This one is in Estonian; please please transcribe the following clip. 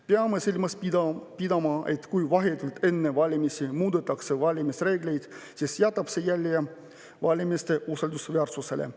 Peame silmas pidama, et kui vahetult enne valimisi muudetakse valimisreegleid, siis jätab see jälje valimiste usaldusväärsusele.